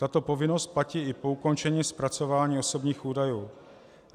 Tato povinnost platí i po ukončení zpracování osobních údajů.